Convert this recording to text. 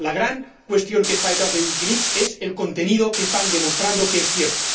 La gran cuestión que está detrás de es el contenido, que están demostrando que es cierto.